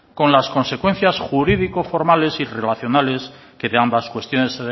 con las consecuencias jurídico formales y relacionales que de ambas cuestiones